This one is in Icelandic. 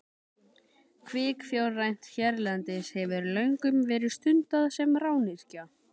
Kvikfjárrækt hérlendis hefur löngum verið stunduð sem rányrkja.